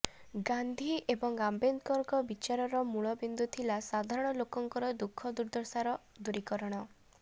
ଗାନ୍ଧୀ ଏବଂ ଆମ୍ବେଦକରଙ୍କ ବିଚାରର ମୂଳ ବିନ୍ଦୁ ଥିଲା ସାଧାରଣ ଲୋକଙ୍କର ଦୁଃଖ ଦୁର୍ଦ୍ଦଶାର ଦୂରୀକରଣ